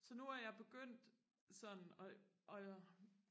så nu er jeg begyndt sådan og og